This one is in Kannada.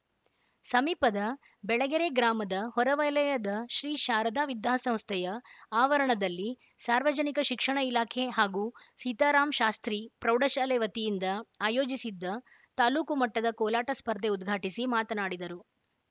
ಸಮೀಪದ ಬೆಳಗೆರೆ ಗ್ರಾಮದ ಹೊರವಲಯದ ಶ್ರೀ ಶಾರದ ವಿದ್ಯಾಸಂಸ್ಥೆಯ ಆವರಣದಲ್ಲಿ ಸಾರ್ವಜನಿಕ ಶಿಕ್ಷಣ ಇಲಾಖೆ ಹಾಗೂ ಸೀತಾರಾಮಶಾಸ್ತ್ರಿ ಪ್ರೌಢಶಾಲೆ ವತಿಯಿಂದ ಆಯೋಜಿಸಿದ್ದ ತಾಲೂಕು ಮಟ್ಟದ ಕೋಲಾಟ ಸ್ಪರ್ಧೆ ಉದ್ಘಾಟಿಸಿ ಮಾತನಾಡಿದರು